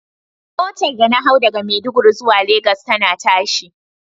Motar da na hau daga Maiduguri zuwa lagos tana tashi.